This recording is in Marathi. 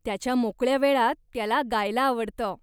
त्याच्या मोकळ्या वेळात त्याला गायला आवडतं.